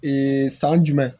Ee san jumɛn